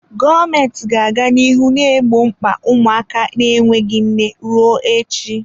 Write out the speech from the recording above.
Gọọmenti ga-aga n'ihu na-egbo mkpa ụmụaka na-enweghị nne ruo echi.